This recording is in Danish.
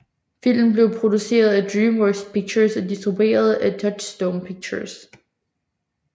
Filmen blev produceret af DreamWorks Pictures og distribueret af Touchstone Pictures